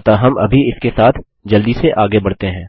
अतः हम अभी इसके साथ जल्दी से आगे बढ़ते हैं